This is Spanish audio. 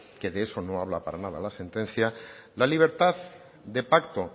que de eso no habla para nada la sentencia la libertad de pacto